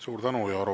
Suur tänu!